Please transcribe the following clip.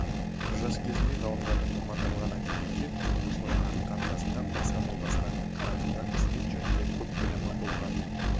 жас кезінде ғалымжанның мамандандырылған әдебиетке қызығушылығы артқан жасында басқа жолдастарына қарағанда қызмет жөнінде көп білімі болған